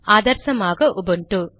ஆதர்சமாக Ubuntu